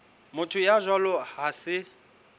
motho ya jwalo ha se